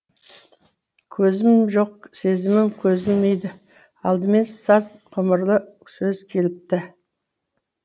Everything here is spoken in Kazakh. көзім жоқ сезімім көзілмейді алдымен саз ғұмырлы сөз келіпті